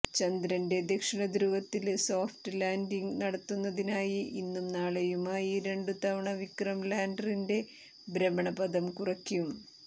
ചന്ദ്രന്റെ ദക്ഷിണധ്രുവത്തില് soft landing നടത്തുന്നതിനായി ഇന്നും നാളെയുമായി രണ്ടു തവണ വിക്രം ലാന്ഡറിന്റെ ഭ്രമണപഥം കുറയ്ക്കും